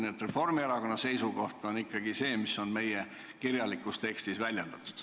Nii et Reformierakonna ettepanek on ikkagi see, mis on meie kirjalikus tekstis väljendatud.